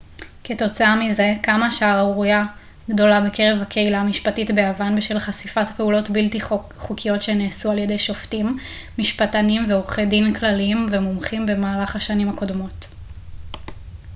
כתוצאה מזה קמה שערורייה גדולה בקרב הקהילה המשפטית ביוון בשל חשיפת פעולות בלתי חוקיות שנעשו על ידי שופטים משפטנים ועורכי דין כלליים ומומחים במהלך השנים הקודמות